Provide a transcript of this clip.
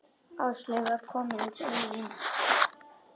Áslaug var komin til mín.